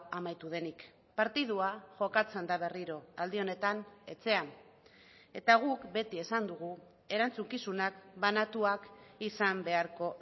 amaitu denik partidua jokatzen da berriro aldi honetan etxean eta guk beti esan dugu erantzukizunak banatuak izan beharko